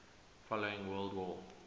following world war